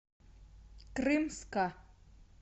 крымска